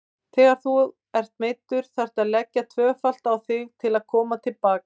Þegar þú ert meiddur þarftu að leggja tvöfalt á þig til að koma til baka.